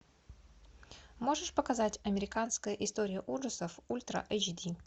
можешь показать американская история ужасов ультра эйч ди